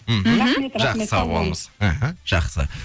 мхм жақсы сау болыңыз іхі жақсы